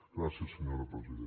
gràcies senyora presidenta